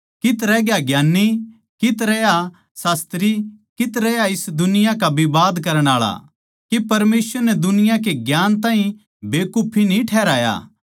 कित्त रहया ज्ञान्नी कित्त रहया शास्त्री कित्त रहया इस दुनिया का विवाद करण आळा के परमेसवर नै दुनिया के ज्ञान ताहीं बेकुफी न्ही ठहराया